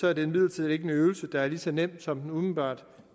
er det imidlertid ikke en øvelse der er lige så nem som den umiddelbart